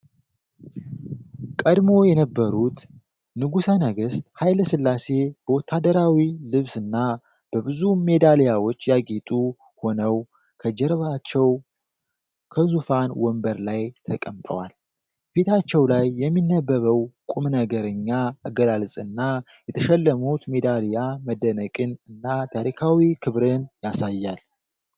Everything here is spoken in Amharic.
ቀድሞ የነበሩት ንጉሠ ነገሥት ኃይለ ሥላሴ በወታደራዊ ልብስና በብዙ ሜዳሊያዎች ያጌጡ ሆነው፤ ከጀርባቸው በዙፋን ወንበር ላይ ተቀምጠዋል። ፊታቸው ላይ የሚነበበው ቁም ነገረኛ አገላለጽና፤ የተሸለሙት ሜዳሊያ መደነቅን እና ታሪካዊ ክብርን ያሳያሉ።